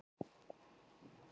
Var hann ákærður í kjölfarið